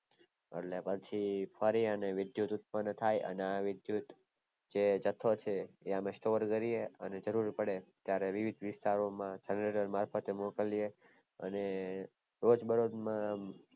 એટલે પછી ફરીને વિદ્યુત ઉદ્પન થાય અને આ વિદ્યુત જે જથો છે ત્યાં અમે store કરીએ અને જરૂર પડે ત્યારે વિવિધ વિસ્તારો માં generator મોકલીએ અને રોજ મારોજ માં